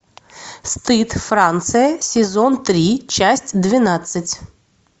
стыд франция сезон три часть двенадцать